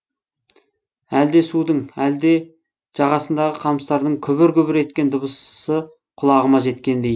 әлде судың әлде жағасындағы қамыстардың күбір күбір еткен дыбысы құлағыма жеткендей